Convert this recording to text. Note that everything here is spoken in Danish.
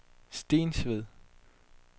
Stensved